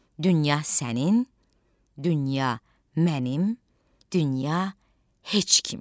Dünya sənin, dünya mənim, dünya heç kimin.